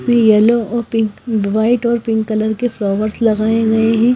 इसमें येलो और pink white और पिंक कलर के फ्लावर्स लगाए हुए हैं।